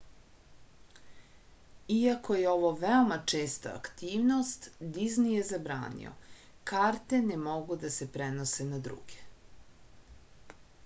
iako je ovo veoma česta aktivnost dizni je zabranio karte ne mogu da se prenose na druge